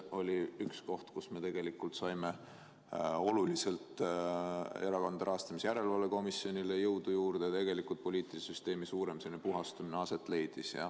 Ja siis me saime oluliselt Erakondade Rahastamise Järelevalve Komisjonile jõudu juurde ja tegelikult leidis aset poliitilise süsteemi suurem puhastamine.